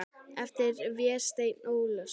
eftir Véstein Ólason.